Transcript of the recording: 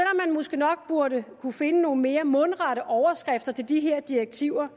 måske nok burde kunne finde nogle mere mundrette overskrifter til de her direktiver